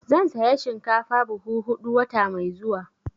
Zan saya shinkafa buhu huɗu wata mai zuwa.